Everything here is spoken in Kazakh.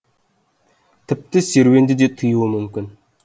тіпті серуенді де тыюуы мүмкін